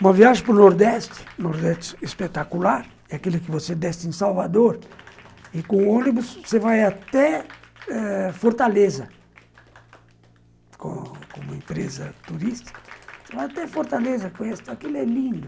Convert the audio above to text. Uma viagem para o Nordeste, o Nordeste espetacular, é aquele que você desce em Salvador, e com o ônibus você vai até ãh Fortaleza, com uma empresa turística, você vai até Fortaleza conhecer, aquilo é lindo.